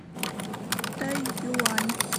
тайюань